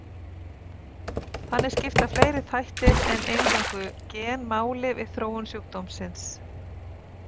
Þannig skipta fleiri þættir en eingöngu gen máli við þróun sjúkdómsins.